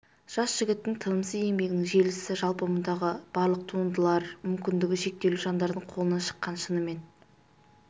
жас жігіттің тынымсыз еңбегінің жемісі жалпы мұндағы барлық туындылар мүмкіндігі шектеулі жандардың қолынан шыққан шынымен